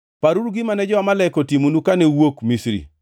Paruru gima ne jo-Amalek otimonu kane uwuok Misri.